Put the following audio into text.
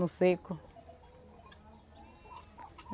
No seco.